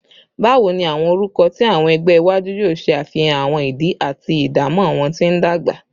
Bawo ni awọn orukọ ti awọn ẹgbẹ iwaju yoo ṣe afihan awọn idi ati idamọ wọn ti ndagba?